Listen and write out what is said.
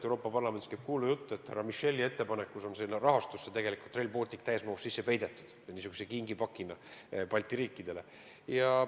Euroopa Parlamendis käib kuulujutt, et härra Micheli ettepanekul on sinna rahastusse tegelikult Rail Baltic täies mahus sisse peidetud – niisuguse kingipakina Balti riikidele.